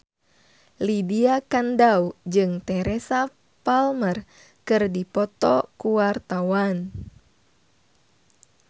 Lydia Kandou jeung Teresa Palmer keur dipoto ku wartawan